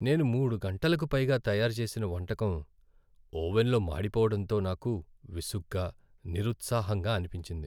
నేను మూడు గంటలకు పైగా తయారుచేసిన వంటకం ఓవెన్లో మాడిపోవడంతో నాకు విసుగ్గా, నిరుత్సాహంగా అనిపించింది.